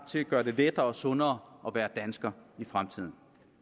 til at gøre det lettere og sundere at være dansker i fremtiden